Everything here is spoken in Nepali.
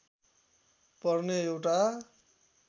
पर्ने एउटा